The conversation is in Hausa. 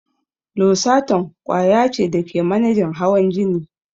Losartan ƙwaya ce da ke manejin hawan jini.